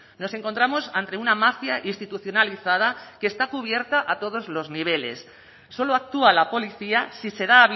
nos encontramos ante una mafia institucionalizada que está cubierta a todos los niveles solo actúa la policía si se da